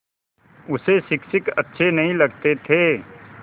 उसे शिक्षक अच्छे नहीं लगते थे